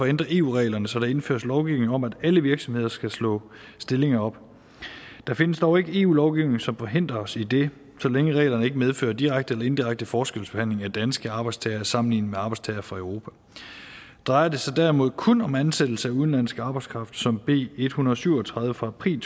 ændre eu reglerne så der indføres lovgivning om at alle virksomheder skal slå stillinger op der findes dog ikke eu lovgivning som forhindrer os i det så længe reglerne ikke medfører direkte eller indirekte forskelsbehandling af danske arbejdstagere sammenlignet med arbejdstagere fra europa drejer det sig derimod kun om ansættelse af udenlandsk arbejdskraft som b en hundrede og syv og tredive fra april